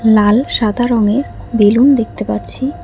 লাল সাদা রঙের বেলুন দেখতে পারছি।